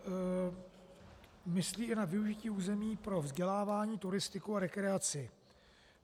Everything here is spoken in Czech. Myslí i na využití území pro vzdělávání, turistiku a rekreaci.